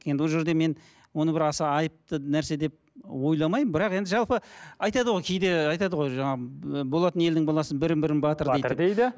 енді ол жерде мен оны бір аса айыпты нәрсе деп ойламаймын бірақ енді жалпы айтады ғой кейде айтады ғой жаңа болатын елдің баласы бірін бірі батыр дейді